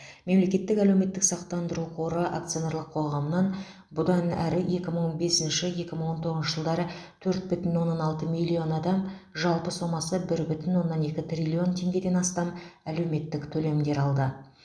мемлекеттік әлеуметтік сақтандыру қоры акционерлік қоғамнан бұдан әрі екі мың бесінші екі мың он тоғызыншы жылдары төрт бүтін оннан алты миллион адам жалпы сомасы бір бүтін оннан екі триллион теңгеден астам әлеуметтік төлемдер алды